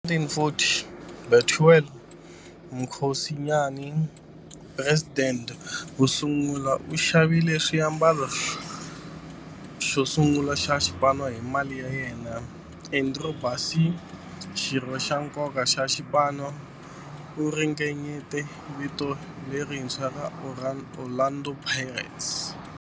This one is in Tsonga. Hi 1940, Bethuel Mokgosinyane, president wosungula, u xavile xiambalo xosungula xa xipano hi mali ya yena. Andrew Bassie, xirho xa nkoka xa xipano, u ringanyete vito lerintshwa ra 'Orlando Pirates'.